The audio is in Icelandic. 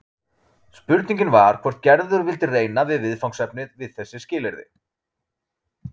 Spurningin var hvort Gerður vildi reyna við viðfangsefnið við þessi skilyrði.